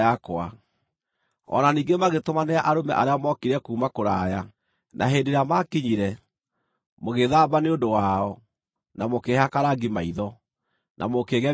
“O na ningĩ magĩtũmanĩra arũme arĩa mookire kuuma kũraya, na hĩndĩ ĩrĩa maakinyire, mũgĩĩthamba nĩ ũndũ wao, na mũkĩĩhaka rangi maitho, na mũkĩĩgemia na mathaga.